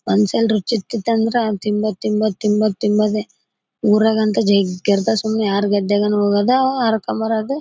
ಒಂದ್ಸಲ್ ರುಚಿ ಹತ್ತಿತಂದ್ರೆ ತಿಂಬೋದ್ ತಿಂಬೋದ್ ತಿಂಬೋದ್ ತಿಂಬೋದೇ ಊರಗಂತ್ತು ಜಗ್ಗಿ ಇರ್ತತೇ ಸುಮ್ನೆ ಯಾರ್ ಗದ್ದೆಯಾನ ಹೋಡೋದ ಹರ್ಕೊಂದ್ ಬರೋದೆ.